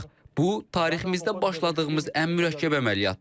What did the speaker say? Bu, tariximizdə başladığımız ən mürəkkəb əməliyyatdır.